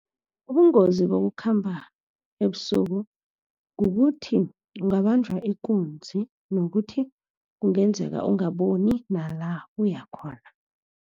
Ubungozi bokukhamba ebusuku kukuthi ungabanjwa ikunzi, nokuthi kungenzeka ungaboni nala uya khona.